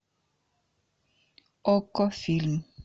окко фильм